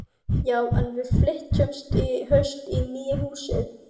Já, en við flytjum í haust í nýja húsið.